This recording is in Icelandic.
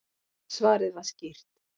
Svarið var skýrt: